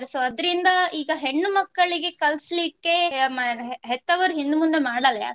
So ಅದರಿಂದ ಈಗ ಹೆಣ್ಣು ಮಕ್ಕಳಿಗೆ ಕಲ್ಸ್ಲಿಕ್ಕೆ ಹೆತ್ತವರು ಹಿಂದ್ ಮುಂದೆ ಮಾಡಲ್ಲ